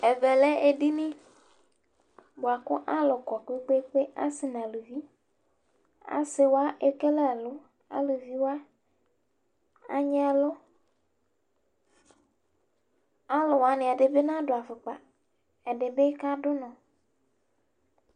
Ɛvɛ lɛ edini bʋa kʋ alʋ kɔ kpe-kpe-kpe, asɩ nʋ aluvi Asɩ wa ekele ɛlʋ Aluvi wa anyɩ ɛlʋ Alʋ wanɩ ɛdɩ bɩ nadʋ afʋkpa Ɛdɩ bɩ kadʋ ʋnɔ